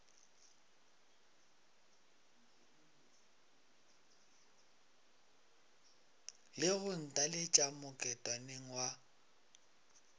le go ntaletša moketšaneng wa